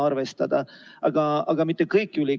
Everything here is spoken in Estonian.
Ma usun, et selleks 1 punktiks on kõik võimelised.